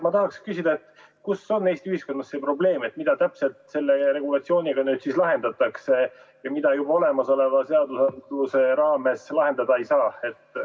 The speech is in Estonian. Ma tahangi küsida, kus on Eesti ühiskonnas see probleem, mida täpselt selle regulatsiooniga nüüd lahendatakse ja mida olemasoleva seaduse raames lahendada ei saa.